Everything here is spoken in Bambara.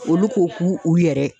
Olu ko k'u yɛrɛ.